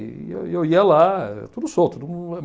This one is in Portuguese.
E eu ia eu ia lá, tudo solto.